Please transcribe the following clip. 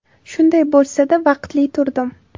Shunday bo‘lsa-da, vaqtli turdim.